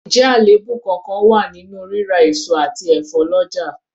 Ǹjẹ́ àléébù kánkán wà nínú rírà èso àti ẹ̀fọ́ lọ́jà?